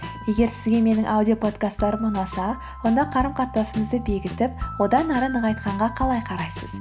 егер сізге менің аудиоподкасттарым ұнаса онда қарым қатынасымызды бекітіп одан ары нығайтқанға қалай қарайсыз